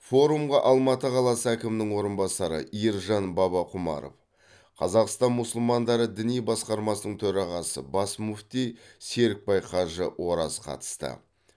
форумға алматы қаласы әкімінің орынбасары ержан бабақұмаров қазақстан мұсылмандары діни басқармасының төрағасы бас мүфти серікбай қажы ораз қатысты